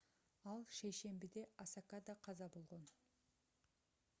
ал шейшембиде осакада каза болгон